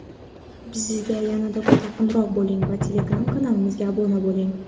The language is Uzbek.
Bizga yanada yaqinroq bo‘ling va telegram kanalimizga obuna bo‘ling!.